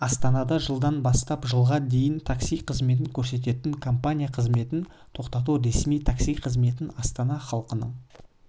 астанада жылдан бастап жылға дейін такси қызметін көрсететін компания қызметін тоқтатты ресми такси қызметін астана халқының